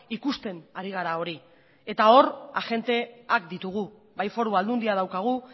ikusten ari gara hori eta hor agenteak ditugu bai foru aldundia daukagu